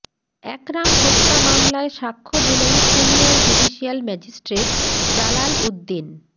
একরাম হত্যা মামলায় সাক্ষ্য দিলেন senior judicial magistrate Jalal Uddin